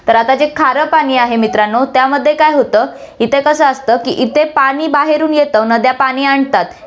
तर आता जे खारं पाणी आहे मित्रांनो, त्यामध्ये काय होतं, इथे कसं असतं की इथे पाणी बाहेरून येतं, नद्या पाणी आणतात.